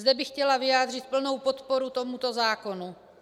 Zde bych chtěla vyjádřit plnou podporu tomuto zákonu.